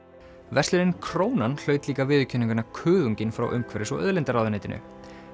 verslunin Krónan viðurkenninguna frá umhverfis og auðlindaráðuneytinu